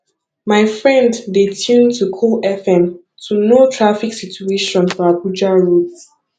my friend dey tune to cool fm to know traffic situation for abuja roads